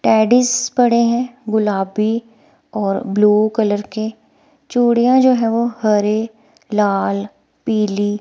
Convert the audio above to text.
TDS पड़े हैं। गुलाबी और ब्ल्यू कलर के चूड़ियां जो है हरे लाल पीली।